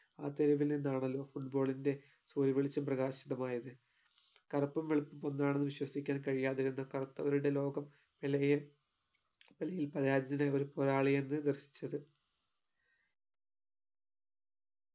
ആ തെരുവിൽ നിന്നാണല്ലോ football ന്റെ പൊയ് വെളിച്ചം പ്രകാശിതമായത് കറുപ്പും വെളുപ്പും ഒന്നാണെന്ന് വിശ്വസിക്കാൻ കഴിയാതിരുന്ന കറുത്തവരുടെ ലോകം പെലെയെ പെലെയിൽ പരാജിതനായ ഒരു പോരാളിയെന്ന് ദർശിച്ചത്